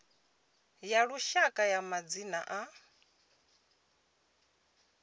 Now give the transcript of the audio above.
ya lushaka ya madzina a